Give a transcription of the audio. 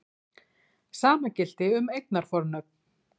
Sama gilti um eignarfornöfn.